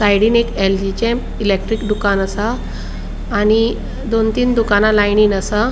साइडिन एक एलजीचे इलेक्ट्रिक दुकाना असा आणि दोन तीन दुकाना लाइनिन असा.